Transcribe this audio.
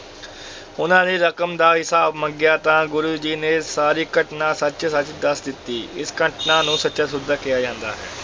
ਉਹਨਾਂ ਨੇ ਰਕਮ ਦਾ ਹਿਸਾਬ ਮੰਗਿਆ ਤਾਂ ਗੁਰੂ ਜੀ ਨੇ ਸਾਰੀ ਘਟਨਾ ਸੱਚ-ਸੱਚ ਦੱਸ ਦਿੱਤੀ, ਇਸ ਘਟਨਾ ਨੂੰ ਸੱਚਾ ਸੌਦਾ ਕਿਹਾ ਜਾਂਦਾ ਹੈ